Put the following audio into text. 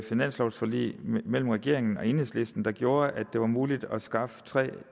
finanslovforlig mellem regeringen og enhedslisten der gjorde at det var muligt at skaffe tre